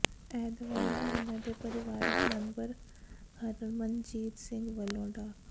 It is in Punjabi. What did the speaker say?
ਇਹ ਦਵਾਈਆਂ ਉਨ੍ਹਾਂ ਦੇ ਪਰਿਵਾਰਕ ਮੈਂਬਰ ਹਰਮਨਜੀਤ ਸਿੰਘ ਵੱਲੋਂ ਡਾ